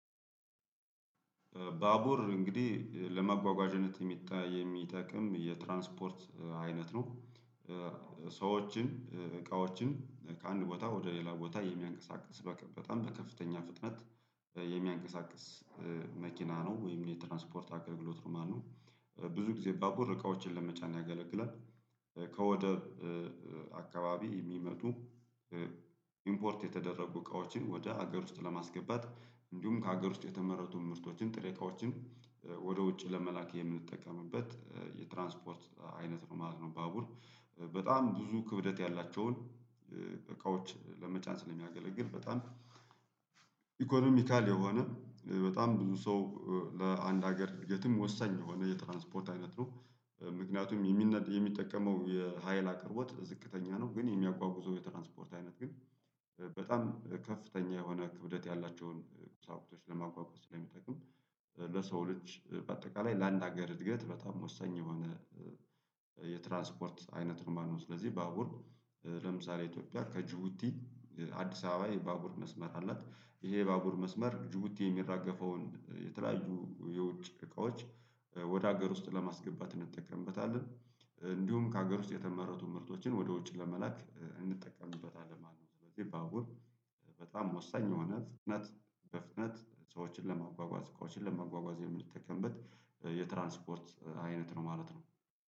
ባቡር እንግዲህ ለማጓጓዣነት የሚጠቅም የትራንስፖርት አይነት ነው። ሰዎችን እቃዎችን ከአንድ ቦታ ወደ ሌላ ቦታ የሚያንቀሳቅስ በጣም በከፍተኛ ፍጥነት የሚያንቀሳቅስ መኪና ነው ወይም የትራንስፖርት አገልግሎት ነው ማለት ነው። ብዙ ጊዜ ባቡር እቃዎችን ለመቻጫን ያገለግላል። ከወደብ አካባቢ የሚመጡ ኢምፖርት የተደረጉ እቃዎችን ወደ ሀገር ውስጥ ለማስገባት እንዲሁም ከሀገር ውስጥ የተመረቱ ምርቶችን ጥሬ እቃዎችን ወደ ውጭ ለመላክ የምንጠቀምበት የትራንስፖርት አይነት ነው ማለት ነው። ባቡር በጣም ብዙ ክብደት ያላቸውን እቃዎች ለመጫን ስለሚያገለግል በጣም ኢኮኖሚካል የሆነ በጣም ብዙ ሰው ለአንድ ሀገር የትም ወሳኝ የሆነ የትራንስፖርት አይነት ነው። ምክንያቱም የሚጠቀመው የሀይል አቅርቦት ዝቅተኛ ነው ግን የሚያጓጉዘው የትራንስፖርት አይነት ግን በጣም ከፍተኛ የሆነ ክብደት ያላቸውን ቁሳቁሶች ለ ማጕጕዝ ስለሚጠቅም ለሰው ልጅ በአጠቃላይ ለአንድ ሀገር እድገት በጣም ወሳኝ የሆነ የትራንስፖርት አይነት ነው ማለት ነው። ስለዚህ ባቡር ለምሳሌ ኢትዮጵያ ከጅቡቲ አዲስ አበባ የባቡር መስመር አላት ይሄ ባቡር መስመር ጅቡቲ የሚራገፈውን የተለያዩ የውጭ እቃዎች ወደ ሀገር ውስጥ ለማስገባት እንጠቀምበታለን እንዲሁም ከሀገር ውስጥ የተመረቱ ምርቶችን ወደ ውጭ ለመላክ እንጠቀምበታለን ማለት ነው። ስለዚህ ባቡር በጣም ወሳኝ የሆነ ፍጥነት በፍጥነት ሰዎችን ለማጓጓዝ እቃዎችን ለማጓጓዝ የምንተከንበት የትራንስፖርት አይነት ነው ማለት ነው